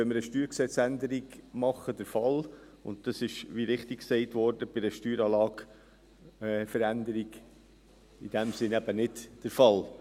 Wenn wir eine StG-Änderung machen, ist dies der Fall, und es ist, wie richtig gesagt wurde, bei einer Steueranlageveränderung in diesem Sinne eben nicht der Fall.